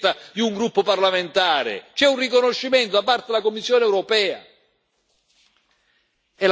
Quindi non è un'invenzione o una richiesta di un gruppo parlamentare, c'è un riconoscimento da parte della Commissione europea.